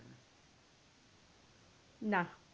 না